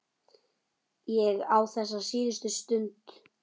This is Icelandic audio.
Ég á þessa síðustu stund.